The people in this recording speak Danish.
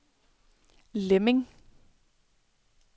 Lemming